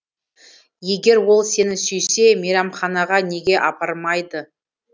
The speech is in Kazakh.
егер ол сені сүйсе мейрамханаға неге апармайды